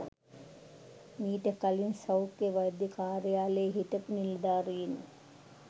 මීට කලින් සෞඛ්‍ය වෛද්‍ය කාර්යාලයේ හිටපු නිලධාරීන්